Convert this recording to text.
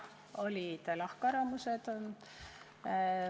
Jah, olid lahkarvamused.